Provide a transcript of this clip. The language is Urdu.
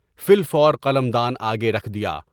فی الفور قلمدان آگے رکھ دیا۔